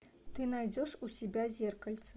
ты найдешь у себя зеркальце